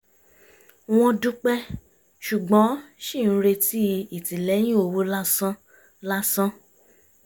wọ́n dúpẹ́ ṣùgbọ́n ṣì ń retí ìtìlẹ́yìn owó lásán lásán